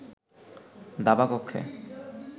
দাবা কক্ষে